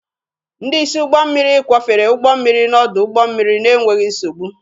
Ndị isi ụgbọ mmiri kwọfere ụgbọ mmiri n'ọdụ ụgbọ mmiri n'enweghị nsogbu.